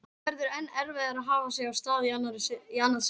Og auðvitað verður enn erfiðara að hafa sig af stað í annað sinn.